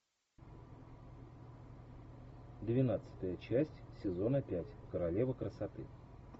двенадцатая часть сезона пять королева красоты